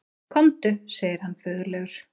Komdu, segir hann föðurlegur.